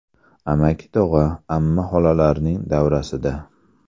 Amaki-tog‘a, amma-xolalarning davrasida.